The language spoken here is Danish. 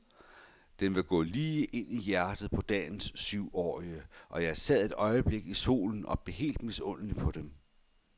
Den vil gå lige ind i hjertet på dagens tyveårige, og jeg sad et øjeblik i solen og blev helt misundelig på dem.